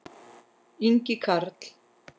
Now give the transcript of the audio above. Ingi Karl.